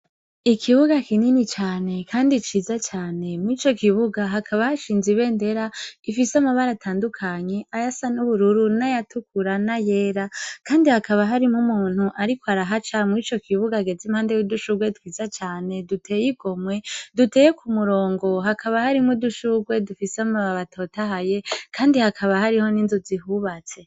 Ikibuga kinini cane, kandi ciza cane mw ico kibuga hakabahashinze ibe ndera gifise amabara atandukanyi aya sa n'ubururu na yatukurana yera, kandi hakaba harimwo umuntu, ariko arahaca mw'ico kibuga ageze impande y'udushurwe twiza cane duteye i gomwe duteye ku murongo hakaba hari mwu dushurwe fise amaba batotahaye, kandi hakaba hariho n'inzu zihubatse.